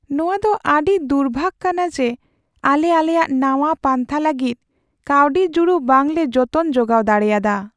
ᱱᱚᱶᱟ ᱫᱚ ᱟᱹᱰᱤ ᱫᱩᱨᱵᱷᱟᱹᱜ ᱠᱟᱱᱟ ᱡᱮ, ᱟᱞᱮ ᱟᱞᱮᱭᱟᱜ ᱱᱟᱶᱟ ᱯᱟᱱᱛᱷᱟ ᱞᱟᱹᱜᱤᱫ ᱠᱟᱹᱣᱰᱤ ᱡᱩᱲᱩ ᱵᱟᱝᱞᱮ ᱡᱚᱛᱚᱱ ᱡᱚᱜᱟᱣ ᱫᱟᱲᱮᱭᱟᱫᱟ ᱾